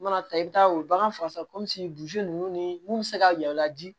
U mana taa i bɛ taa u bagan fagasan ninnu ni mun bɛ se ka yɛlɛn u la di